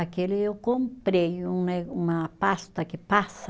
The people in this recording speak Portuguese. Aquele eu comprei, um né, uma pasta que passa